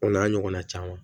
O n'a ɲɔgɔnna caman